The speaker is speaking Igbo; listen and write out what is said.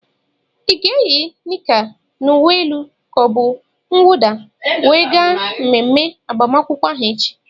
Ị ga-eyi nicka na uwe elu ka ọ bụ uwe nwụda we gaa mmemme agbamakwụkwọ ahụ echi?